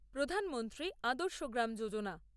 Pradhan Mantri Adarsh Gram Yojana